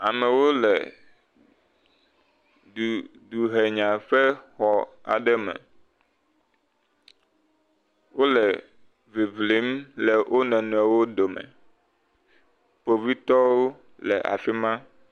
Amewo le duhenya ƒe xɔ aɖe me , wole ŋiŋlim le wo nɔnɔewo dome , kpovitɔwo le afi ma.